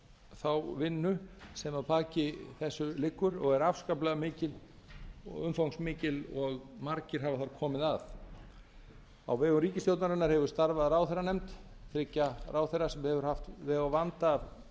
þá vinnu sem að baki þessu liggur og afskaplega umfangsmikil og margir hafa þar komið að á vegum ríkisstjórnarinnar hefur starfað ráðherranefnd þriggja ráðherra sem hefur haft veg og vanda af